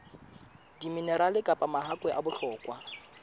diminerale kapa mahakwe a bohlokwa